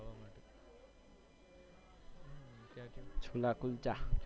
Chola kulcha